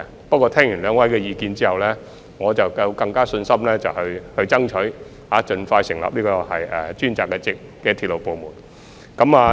不過，聽畢兩位的意見後，我便更有信心爭取盡快成立專責的鐵路部門。